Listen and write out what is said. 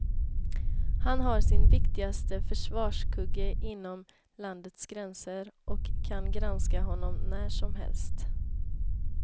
Han har sin viktigaste försvarskugge inom landets gränser, och kan granska honom när som helst.